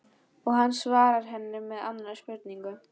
Og hann svarar henni með annarri spurningu